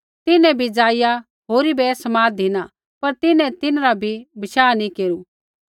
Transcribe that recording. तिन्हैं बी जाईया होरी बै ऐ समाद धिना पर तिन्हैं तिन्हरा बी बशाह नी केरू